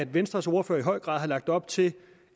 venstres ordfører i høj grad har lagt op til